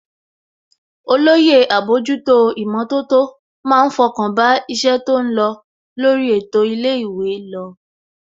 Olóyè àbójútó ìmọ̀tótó má ń fọkàn bá iṣẹ́ tó lọ lórí ètò ilé ìwé lọ